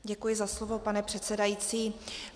Děkuji za slovo, pane předsedající.